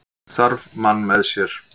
Þarf mann með sér